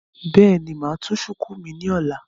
Bẹ́ẹ̀ni, mo máa tú shùkú mi ní ọ̀la